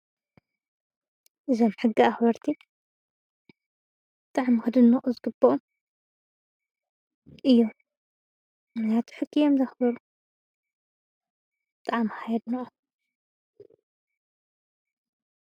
እዞም ሕጊ እክበርቲ ብጣዕሚ ክድንቁ ዝግበኦም እዮም። ምክንያቱ ሕጊ እዮም ዘክብሩ ብጣዕሚ ከዓ የድንቆም ።